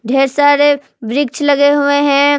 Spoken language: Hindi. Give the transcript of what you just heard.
ढेर सारे वृक्ष लगे हुए है।